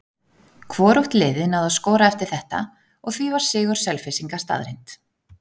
Hvorugt liðið náði að skora eftir þetta og því var sigur Selfyssinga staðreynd.